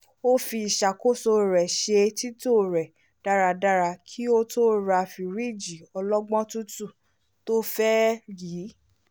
ó fi ìṣàkóso rẹ ṣe tító dáradára kí ó tó ra fírìjì ọlọ́gbọ́n tuntun tó fẹ́ yìí